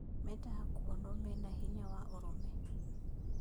Mendaga kuonwo mena hinya na ũrũme